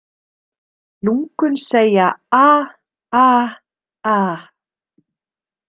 Lungun segja ah- ah- ah.